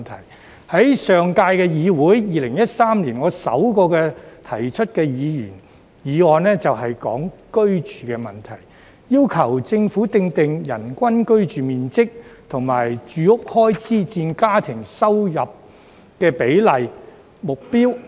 我在上屆議會提出的首項議員議案，正是關於居住問題，要求政府訂定"人均居住面積"及"住屋開支佔家庭入息比例"目標。